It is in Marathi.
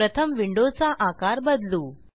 प्रथम विंडोचा आकार बदलू